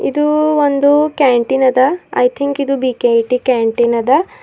ಇದು ಒಂದು ಕ್ಯಾಂಟೀನ್ ಅದ ಐ ಥಿಂಕ್ ಇದು ಬಿಕೆಟಿ ಕ್ಯಾಂಟೀನ್ ಅದ.